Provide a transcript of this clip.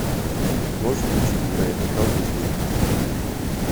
можешь включить невероятный халк эйч ди